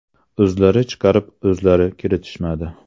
O‘zlari chaqirib o‘zlari kiritishmadi.